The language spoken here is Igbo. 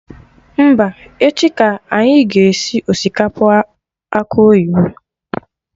Mba, echi ka anyị ga esi osikapa akụ oyibo